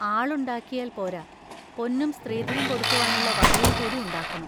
ആളുണ്ടാക്കിയാൽ പോരാ, പൊന്നും സ്ത്രീധനം കൊടുക്കുവാനുള്ള വകയും കൂടി ഉണ്ടാക്കണം.